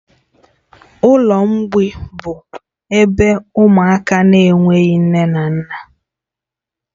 Ụlọ mgbei bụ ebe ụmụaka na-enweghị nne na nna